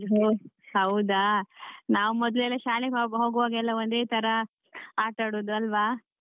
ಓ ಹೌದಾ! ನಾವ್ ಮೊದ್ಲೆಲ್ಲಾ ಶಾಲೆಗೆ ಹೋ~ ಹೋಗ್ವಾಗ ಎಲ್ಲ ಒಂದೇತರ ಆಟಾಡುದು ಅಲ್ವಾ?